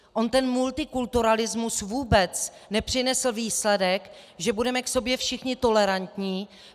On ten multikulturalismus vůbec nepřinesl výsledek, že budeme k sobě všichni tolerantní.